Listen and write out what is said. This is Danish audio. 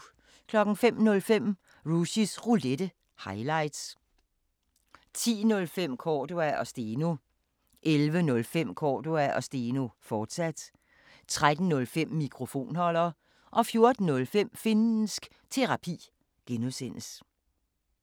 05:05: Rushys Roulette – highlights 10:05: Cordua & Steno 11:05: Cordua & Steno, fortsat 13:05: Mikrofonholder 14:05: Finnsk Terapi (G)